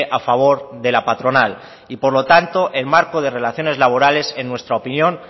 a favor de la patronal y por lo tanto el marco de relaciones laborales en nuestra opinión